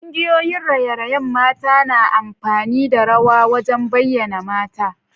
Kungiyoyin raye-rayen mata na amfani da rawa wajen bayyana mata.